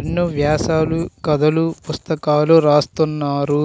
ఎన్నో వ్యాసాలు కథలు పుస్తకాలు రాస్తున్నారు